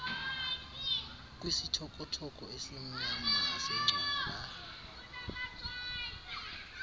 kwisithokothoko esimnyama sengcwaba